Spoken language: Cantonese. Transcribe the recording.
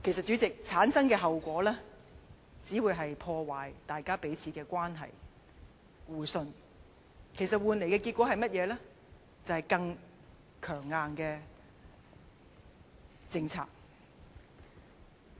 主席，這樣產生的效果，只會是破壞彼此關係和互信，換來甚麼結果呢？是更強硬的政策。